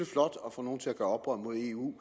flot at få nogle til at gøre oprør mod eu